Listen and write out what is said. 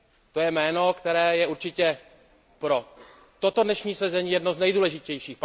To je jméno, které je určitě pro toto dnešní sezení jedno z nejdůležitějších.